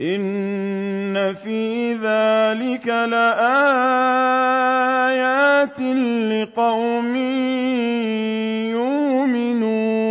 إِنَّ فِي ذَٰلِكَ لَآيَاتٍ لِّقَوْمٍ يُؤْمِنُونَ